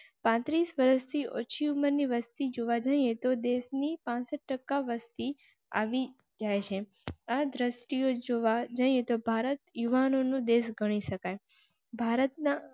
પાંત્રીસ વર્ષથી ઓછી ઉંમર ની વસ્તી જોવા જઇએ તો દેશ ની ટકા વસતી જાયે. આ દ્રશ્યો જોવા જઈએ તો ભારત યુવાનો નો દેશ ગણી શકાય. ભારતના